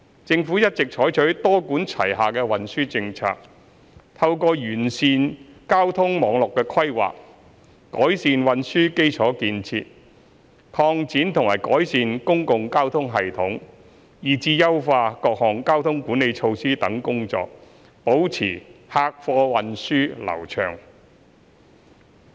政府一直採取多管齊下的運輸政策，透過完善交通網絡規劃、改善運輸基礎設施、擴展和改善公共交通系統，以至優化各項交通管理措施等工作，保持客貨運輸流暢。